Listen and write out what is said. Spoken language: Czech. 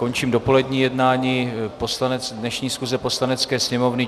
Končím dopolední jednání dnešní schůze Poslanecké sněmovny.